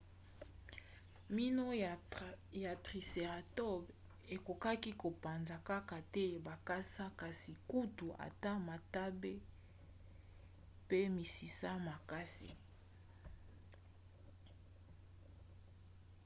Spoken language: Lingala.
mino ya tricératops ekokaki kopanza kaka te bakasa kasi kutu ata matambe pe misisa ya makasi